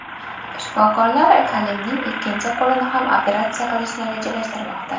Shifokorlar Kalimning ikkinchi qo‘lini ham operatsiya qilishni rejalashtirmoqda.